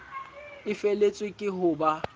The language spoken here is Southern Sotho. e feletswe ke ho ba